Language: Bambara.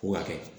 Ko hakɛ